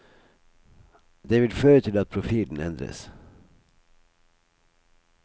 Det vil føre til at profilen endres.